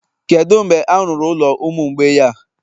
Kedu mgbe a rụrụ ụlọ ụmụ mgbei a?